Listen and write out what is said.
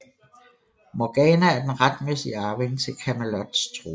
Morgana er den retmæssige arving til Camelots trone